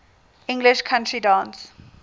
english country dance